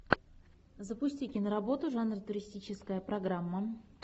запусти киноработу жанр туристическая программа